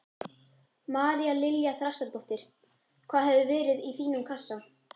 María Lilja Þrastardóttir: Hvað hefði verið í þínum kassa?